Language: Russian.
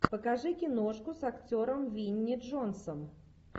покажи киношку с актером винни джонсом